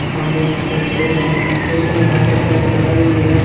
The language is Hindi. सामने यहां पर खड़े हैं। एक ने यहां पर कैप लगाई हुई है।